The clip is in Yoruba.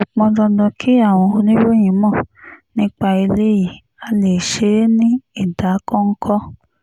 kò pọn dandan kí àwọn oníròyìn mọ̀ nípa eléyìí á lè ṣe é ní ìdákọ́ńkọ́